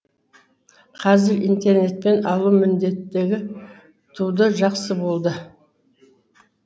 қазір интернетпен алу міндеттегі туды жақсы болды